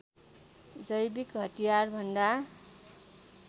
जैविक हतियार भन्दा